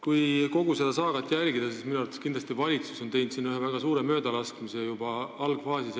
Kui kogu seda saagat jälgida, siis minu arvates on valitsus teinud siin ühe väga suure möödalaskmise juba algfaasis.